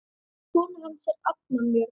Kona hans er Anna Björg